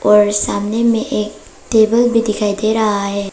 और सामने में एक टेबल भी दिखाई दे रहा है।